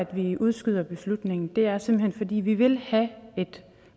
vi udskyder beslutningen det er simpelt hen fordi vi vil have et